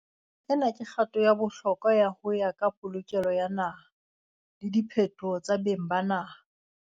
"Ena ke kgato ya bohlokwa ho ya ka polokelo ya naha le diphetoho tsa beng ba naha."